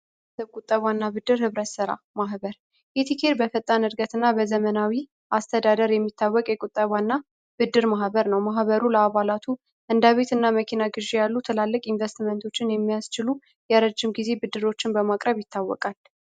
የቁጠባና ብድር ህብረት ስራ ማህበር ኢቲኬር በፈጣን እድገትና በዘመናዊ አስተዳደር የሚታወቅ የቁጠባና ብድር ማህበር ነው። ማህበሩት ለአባላቱ እንደ ቤት እና መኪና ግዢ ያሉ ትላልቅ ኢንቨስትመንቶችን የሚያስችሉ የረጅም ጊዜዎችን ብድር በማቅረብ ይታወቃል።